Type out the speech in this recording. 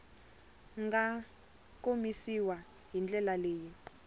nga komisiwa hi ndlela leyi